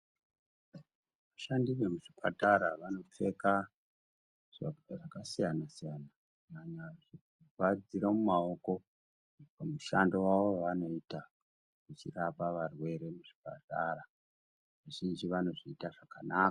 Vashandi vemuzvipatara vanopkeka zvakasiyana-siyana, kunyanya zvekuvharidzira maoko mumushando wavo wevanoita vachirapa varwere muzvipatara. Vazhinji vanozviita zvakanaka.